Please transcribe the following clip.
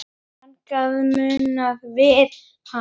Þannig munum við hana.